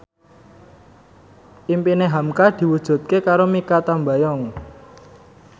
impine hamka diwujudke karo Mikha Tambayong